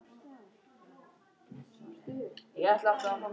Örk, kveiktu á sjónvarpinu.